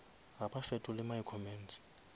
ga ba fetole my comments